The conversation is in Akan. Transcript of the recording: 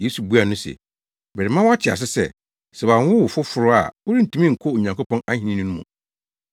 Yesu buaa no se, “Merema woate ase sɛ, sɛ wɔanwo wo foforo a worentumi nkɔ Onyankopɔn ahenni no mu.”